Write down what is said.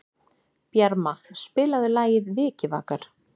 Bjarma, spilaðu lagið „Vikivakar“.